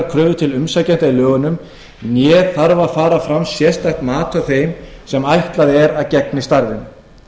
kröfur til umsækjenda í lögunum né þarf að fara fram sérstakt mat á þeim sem ætlað er að gegni starfinu